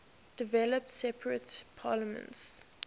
developed separate parliaments